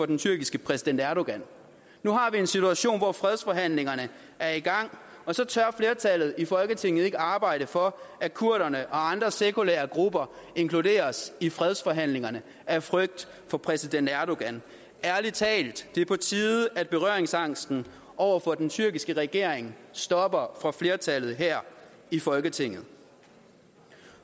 den tyrkiske præsident erdogan nu har vi en situation hvor fredsforhandlingerne er i gang og så tør flertallet i folketinget ikke arbejde for at kurderne og andre sekulære grupper inkluderes i fredsforhandlingerne af frygt for præsident erdogan ærlig talt det er på tide at berøringsangsten over for den tyrkiske regering stopper for flertallet her i folketinget